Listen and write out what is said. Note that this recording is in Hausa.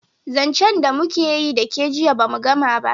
zancen da mu keyi da ke jiya ba mu Gama ba